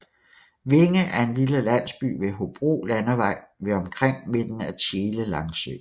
Vinge er en lille landsby ved Hobro Landvej ved omkring midten af Tjele Langsø